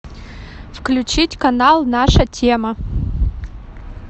включить канал наша тема